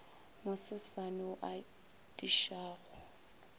mo sesane wo o atišago